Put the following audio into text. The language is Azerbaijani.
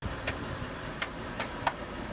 Bəli, indi biraz aşağıdan gedir.